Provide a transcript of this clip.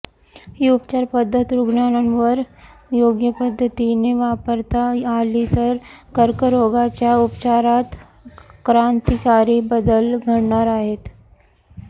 ही उपचार पद्धत रुग्णांवर योग्य पद्धतीने वापरता आली तर कर्करोगाच्या उपचारात क्रांतिकारी बदल घडणार आहेत